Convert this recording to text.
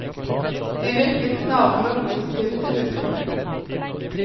De virket snarere positive til utspillet.